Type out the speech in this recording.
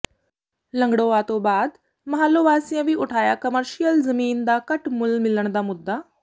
ਲੰਗੜੋਆ ਤੋਂ ਬਾਅਦ ਮਹਾਲੋਂ ਵਾਸੀਆਂ ਵੀ ਉਠਾਇਆ ਕਮਰਸ਼ੀਅਲ ਜ਼ਮੀਨ ਦਾ ਘੱਟ ਮੁੱਲ ਮਿਲਣ ਦਾ ਮੁੱਦਾ